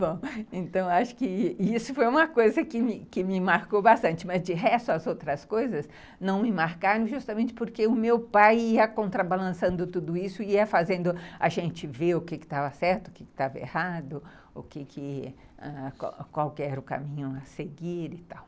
Bom, então acho que isso foi uma coisa que me marcou bastante, mas de resto as outras coisas não me marcaram, justamente porque o meu pai ia contrabalançando tudo isso, ia fazendo a gente ver o que estava certo, o que estava errado, qual era o caminho a seguir e tal.